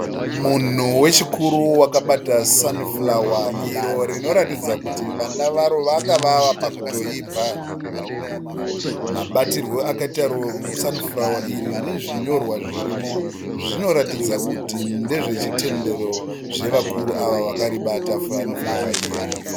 Munhu wechikuru wakabata sanifurawa iro rinoratidza kuti vana varo vanga vave kutoibva. Mabatirwo akaitwa sanifurawa nezvinyorwa zvirimo zvinotaridza kuti ndezvechitendero chevakuru vakaribata sanifurawa iri.